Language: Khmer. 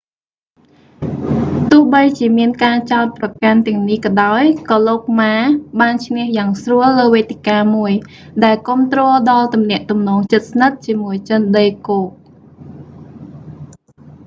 ទោះបីជាមានការចោទប្រកាន់ទាំងនេះក៏ដោយ ក៏លោកម៉ា ma បានឈ្នះយ៉ាងស្រួលលើវេទិកាមួយ ដែលគាំទ្រដល់ទំនាក់ទំនងជិតស្និទ្ធជាមួយចិនដីគោក